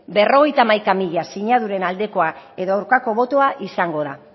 berrogeita hamaika mila sinaduren aldekoak edo aurkako botoa izango da